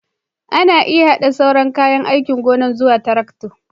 Ana iya haɗa sauran kayan aikin gona zuwa tarakta